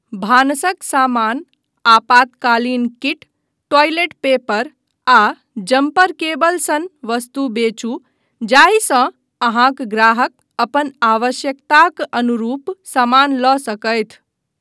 भानसक सामान, आपातकालीन kit, toilet paper आ जम्पर केबल सन वस्तु बेचू जाहिसँ अहाँक ग्राहक अपन आवश्यकताक अनुरूप सामान लऽ सकथि।